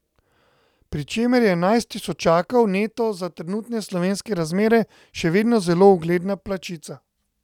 Pri čemer je enajst tisočakov neto za trenutne slovenske razmere še vedno zelo ugledna plačica.